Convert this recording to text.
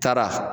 Taara